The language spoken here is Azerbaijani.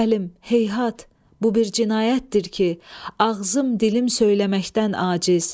Heyhat, bu bir cinayətdir ki, ağzım, dilim söyləməkdən aciz!